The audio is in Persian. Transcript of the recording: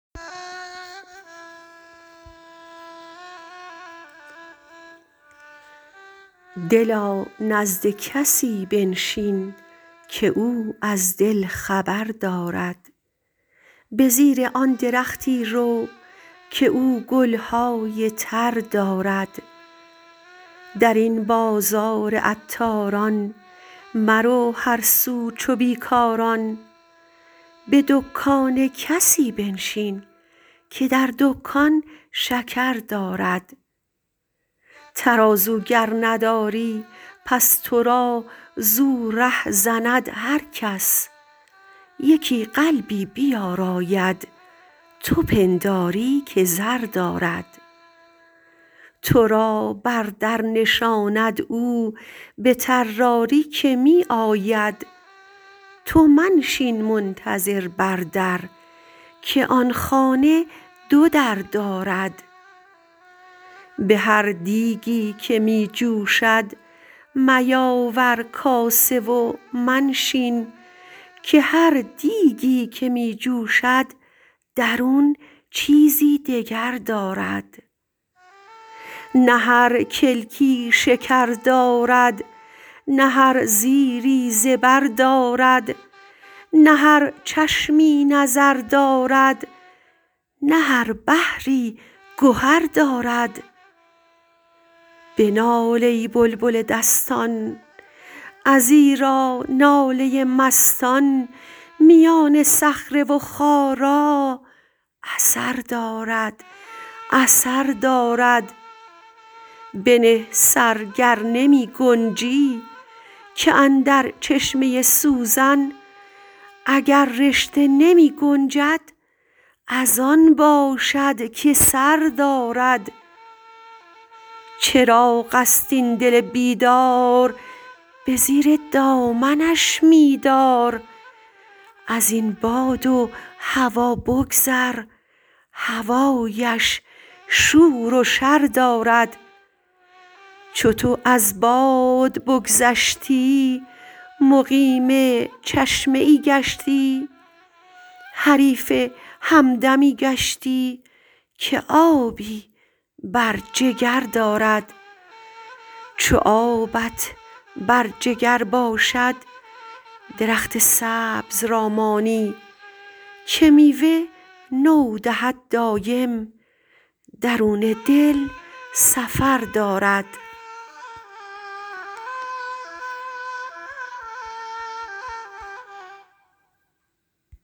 دلا نزد کسی بنشین که او از دل خبر دارد به زیر آن درختی رو که او گل های تر دارد در این بازار عطاران مرو هر سو چو بی کاران به دکان کسی بنشین که در دکان شکر دارد ترازو گر نداری پس تو را زو ره زند هر کس یکی قلبی بیاراید تو پنداری که زر دارد تو را بر در نشاند او به طراری که می آید تو منشین منتظر بر در که آن خانه دو در دارد به هر دیگی که می جوشد میاور کاسه و منشین که هر دیگی که می جوشد درون چیزی دگر دارد نه هر کلکی شکر دارد نه هر زیری زبر دارد نه هر چشمی نظر دارد نه هر بحری گهر دارد بنال ای بلبل دستان ازیرا ناله مستان میان صخره و خارا اثر دارد اثر دارد بنه سر گر نمی گنجی که اندر چشمه سوزن اگر رشته نمی گنجد از آن باشد که سر دارد چراغ است این دل بیدار به زیر دامنش می دار از این باد و هوا بگذر هوایش شور و شر دارد چو تو از باد بگذشتی مقیم چشمه ای گشتی حریف همدمی گشتی که آبی بر جگر دارد چو آبت بر جگر باشد درخت سبز را مانی که میوه نو دهد دایم درون دل سفر دارد